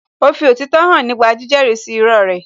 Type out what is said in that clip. Ó fi òtítọ́ hàn nípa jíjẹ́rí sí irọ́ rẹ̀